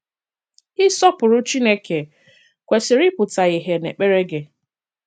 Ị̀sọpụrụ̀ Chineke kwesị̀rì ị̀pụ̀tà ìhè n’èkpèrè gị.